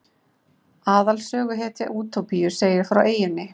Aðalsöguhetja Útópíu segir frá eyjunni.